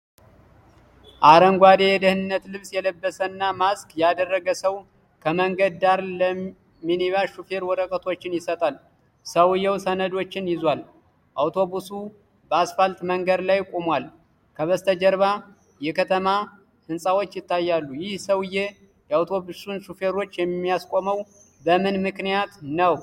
አረንጓዴ የደህንነት ልብስ የለበሰና ማስክ ያደረገ ሰው ከመንገድ ዳር ለሚኒባስ ሾፌር ወረቀቶችን ይሰጣል። ሰውዬው ሰነዶችን ይዟል። አውቶቡሱ በአስፋልት መንገድ ላይ ቆሟል፤ ከበስተጀርባው የከተማ ህንፃዎች ይታያሉ። ይህ ሰው የአውቶቡሱን ሾፌር የሚያስቆመው በምን ምክንያት ይሆን?